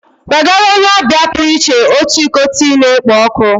Nwegara onye ọbịa pụrụ iche otu iko tii na-ekpo ọkụ